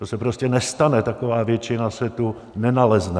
To se prostě nestane, taková většina se tu nenalezne.